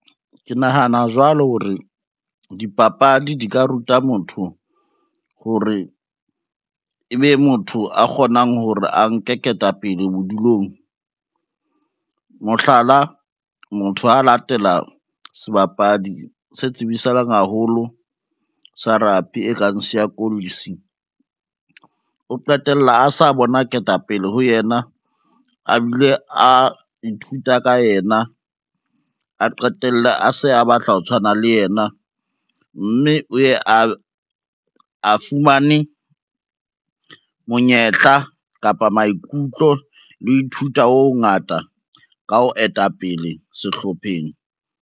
Ke nahana jwalo hore, dipapadi di ka ruta motho hore ebe motho a kgonang hore a nke ketapele bodulong. Mohlala, motho ha latela sebapadi se tsibisahaleng haholo sa rugby e kang Siya Kolisi o qetella a sa bona ketapele ho yena, a bile a ithuta ka yena, a qetelle a se a batla ho tshwana le yena, mme o ye a fumane monyetla kapa maikutlo le ho ithuta ho hongata ka ho etapele sehlopheng.